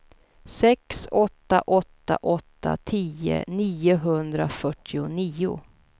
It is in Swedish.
sex åtta åtta åtta tio niohundrafyrtionio